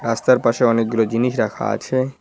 পাশে অনেকগুলো জিনিস রাখা আছে।